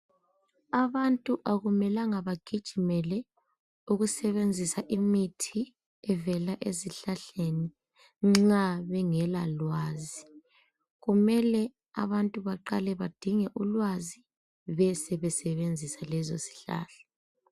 Abantu akumelanga bagijimele ukusebenzisa imithi evela ezihlahleni nxa bengela lwazi kumele abantu baqale badinge ulwazi besebesebenzisa lezo zihlahla.